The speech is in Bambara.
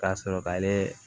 K'a sɔrɔ k'ale